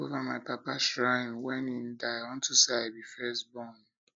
i take over my papa shrine wen he die unto say i be first be first born